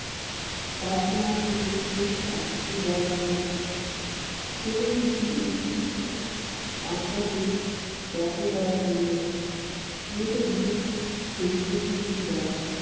পাটনার আপনি বহাল থাকবেন কোনো আপনাকে দঙ্গ করা চলবে না